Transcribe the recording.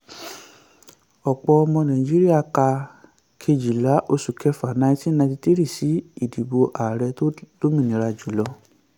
ọ̀pọ̀ ọmọ nàìjíríà ka kejìlá oṣù kẹfà 1993 sí ìdìbò ààrẹ tó lómìnira jù.